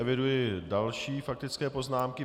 Eviduji další faktické poznámky.